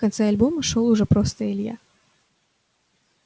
в конце альбома шёл уже просто илья